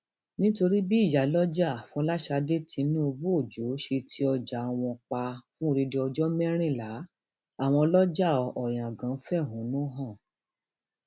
um nítorí bí ìyálójára fọlásadé tinubuojo ṣe ti ọjà wọn um pa fún odidi ọjọ mẹrìnlá àwọn ọlọjà oyangan fẹhónú hàn